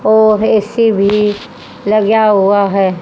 ओ AC भी लगा हुआ है।